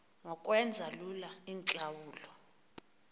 ngokwenza lula iintlawulo